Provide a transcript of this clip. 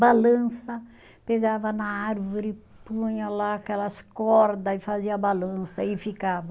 Balança, pegava na árvore, punha lá aquelas corda e fazia balança e ficava.